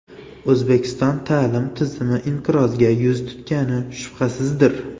O‘zbekiston ta’lim tizimi inqirozga yuz tutgani shubhasizdir.